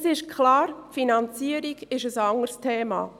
Es ist klar, die Finanzierung ist ein anderes Thema.